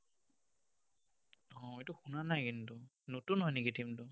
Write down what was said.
অ, এইটো শুনা নাই কিন্তু। নতুন হয় নেকি team টো?